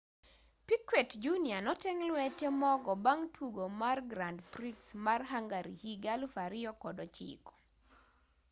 piquet jr noteng' lwete mogo bang' tugo mar grand prix ma hungary higa 2009